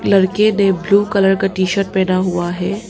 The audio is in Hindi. लड़के ने ब्लू कलर का टी शर्ट पहना हुआ है।